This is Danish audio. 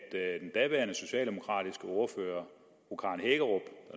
at den daværende socialdemokratiske ordfører